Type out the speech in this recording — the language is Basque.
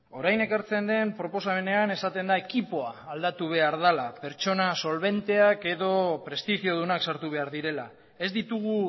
orain ekartzen den proposamenean esaten da ekipoa aldatu behar dela pertsona solbenteak edo prestigiodunak sartu behar direla ez ditugu